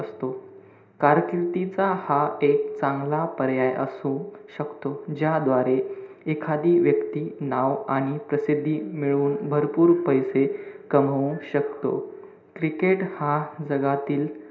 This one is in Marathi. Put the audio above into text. कारकिर्दीचा हा एक चांगला पर्याय असू शकतो. ज्याद्वारे एखादी व्यक्ती नाव आणि प्रसिद्धी मिळवून भरपूर पैसे कमावू शकतो. cricket हा जगातील,